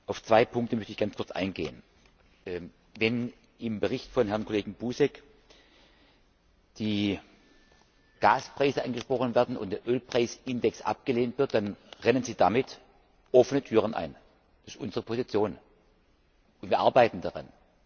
Auf zwei Punkte möchte ich gerne kurz eingehen. Wenn im Bericht von Herrn Kollegen Buzek die Gaspreise angesprochen werden und der Ölpreisindex abgelehnt wird, dann rennen Sie damit offene Türen ein. Das ist unsere Position, und wir arbeiten daran.